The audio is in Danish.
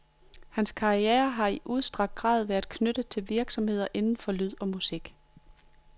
Hans karriere har i udstrakt grad været knyttet til virksomheder inden for lyd og musik.